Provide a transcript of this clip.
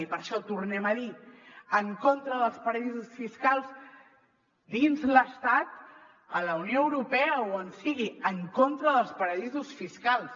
i per això tornem a dir en contra dels paradisos fiscals dins l’estat a la unió europea o on sigui en contra dels pa·radisos fiscals